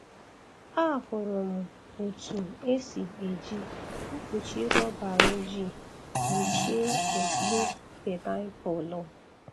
Ahụrụ m otu esi eji mkpuchi rọba ojii kpuchie okpu painiapulu.